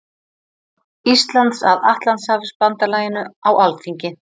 Íslands að Atlantshafsbandalaginu á Alþingi.